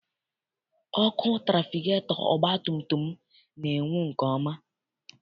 Ọkụ trafigetọ ọgbatumtum m na-enwu nke ọma.